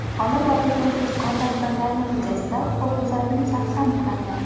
Olib borilgan tezkor tadbirlar natijasida huquqbuzarning shaxsi aniqlandi.